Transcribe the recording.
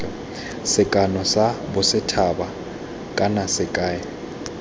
sekano sa bosethaba kana sekai